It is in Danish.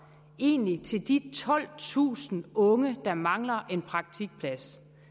egentlig er til de tolvtusind unge der mangler en praktikplads